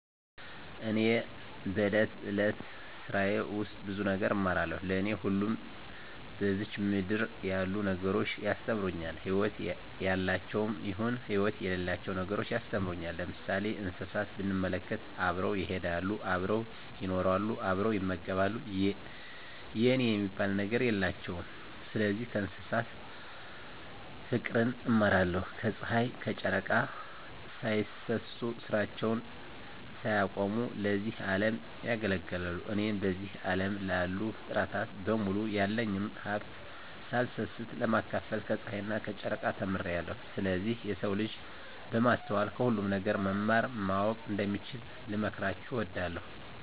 እኔ በእለት እለት ስራየ ውስጥ ብዙ ነገር እማራለሁ። ለኔ ሁሉም በዝች ምድር ያሉ ነገሮች ያስተምሩኛል ህይወት ያላቸውም ይሁን ህይወት የሌላቸው ነገሮች ያስተምሩኛል። ለምሳሌ እንስሳትን ብንመለከት አብረው ይሄዳሉ አብረው ይኖራሉ አብረው ይመገባሉ የኔ የሚባል ነገር የላቸውም ስለዚህ ከእንስሳት ፉቅርን እማራለሁ። ከጽሀይ ከጨረቃ ሳይሰስቱ ስራቸውን ሳያቆሙ ለዚህ አለም ያገለግላሉ። እኔም በዚህ አለም ላሉ ፉጥረታት በሙሉ ያለኝን ሀብት ሳልሰስት ለማካፈል ከጸሀይና ከጨረቃ ተምሬአለሁ። ስለዚህ የሰው ልጅ በማስተዋል ከሁሉም ነገር መማር ማወቅ እንደሚችሉ ልመክራቸው እወዳለሁ።